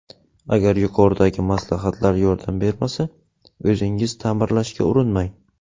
Agar yuqoridagi maslahatlar yordam bermasa, o‘zingiz ta’mirlashga urinmang.